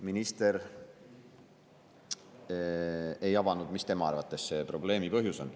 Minister ei avanud, mis tema arvates see probleemi põhjus on.